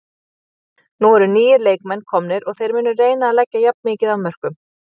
Nú eru nýir leikmenn komnir og þeir munu reyna að leggja jafn mikið af mörkum.